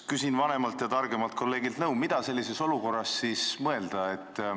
Küsin vanemalt ja targemalt kolleegilt nõu, mida sellises olukorras siis mõelda.